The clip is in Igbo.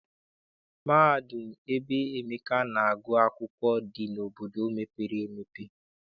Mahadum ebe Emeka na-agụ akwụkwọ dị n'obodo mepere emepe.